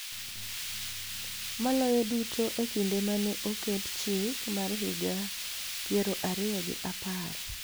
Maloyo duto e kinde ma ne oket Chik mar Higa Piero Ariyo gi Apar.